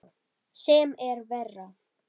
Sem er verra.